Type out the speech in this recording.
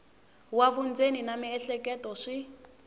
wa vundzeni na miehleketo swi